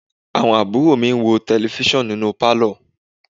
Àwọn àbúrò mi ń wo Tẹlifísàn nínú Pálọ̀